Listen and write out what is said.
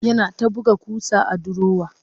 Yana ta buga ƙusa a durowar